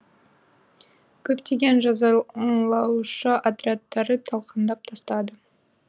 көптеген жазалаушы отрядтарды талқандап тастады